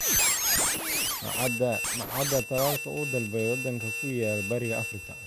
Ma cadda tallaalka uu dalbaday waddanka ku yaal Bariga Afrika.